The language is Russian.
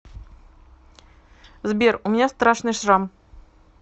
сбер у меня страшный шрам